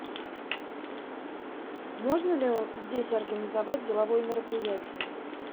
можно ли здесь организовать деловое мероприятие